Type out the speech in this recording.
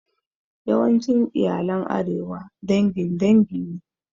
Yawancin iyalan arewa dangin dangi ne